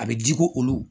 A bɛ di ko olu